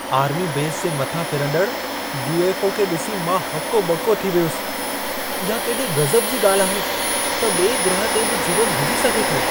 Army base जे मथां फिरंदड़ यू.एफ.ओ. खे ॾिसी मां हको ॿको थी वियुसि। इहा केॾे गज़ब जी ॻाल्हि आहे त ॿिए ग्रह ते बि जीवन हुजी सघे थो।